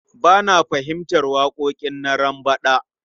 Ba na fahimtar waƙoƙin Narambaɗa.